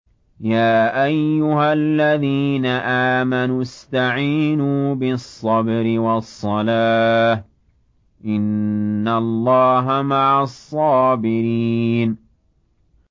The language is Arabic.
يَا أَيُّهَا الَّذِينَ آمَنُوا اسْتَعِينُوا بِالصَّبْرِ وَالصَّلَاةِ ۚ إِنَّ اللَّهَ مَعَ الصَّابِرِينَ